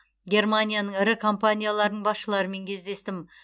германияның ірі компанияларының басшыларымен кездестім